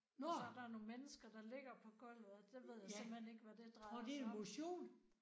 Og så der nogle mennesker der ligger på gulvet og det ved jeg simpelthen ikke hvad det drejer sig om